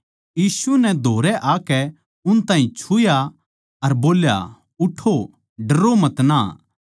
यीशु नै धोरै आकै उन ताहीं छुया अर बोल्या उठो डरो मतना